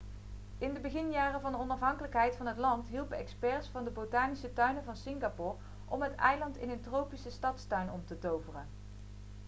in de beginjaren van de onafhankelijkheid van het land hielpen experts van de botanische tuinen van singapore om het eiland in een tropische stadstuin om te toveren